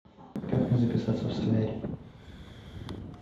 как мне записаться в солярий